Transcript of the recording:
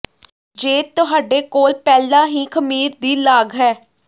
ਜੇ ਤੁਹਾਡੇ ਕੋਲ ਪਹਿਲਾਂ ਹੀ ਖ਼ਮੀਰ ਦੀ ਲਾਗ ਹੈ